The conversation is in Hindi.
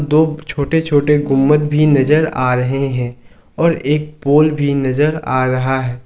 दो छोटे छोटे गुंबद भी नजर आ रहे हैं और एक पोल भी नजर आ रहा है।